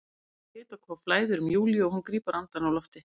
Snöggt hitakóf flæðir um Júlíu og hún grípur andann á lofti.